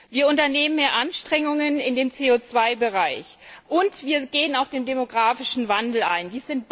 Wir unternehmen mehr Anstrengungen in dem CO 2 Bereich und wir gehen auf den demografischen Wandel ein.